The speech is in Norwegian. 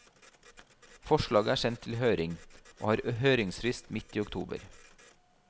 Forslaget er sendt til høring, og har høringsfrist midt i oktober.